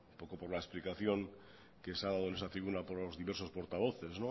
por la explicación que se ha dado en esta tribuna por los diversos portavoces